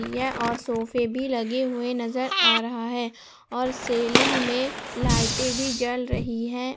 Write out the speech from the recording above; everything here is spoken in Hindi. और सोफे भी लगे हुए नजर आ रहा है और सेलिंग में लाइटें भी जल रही है।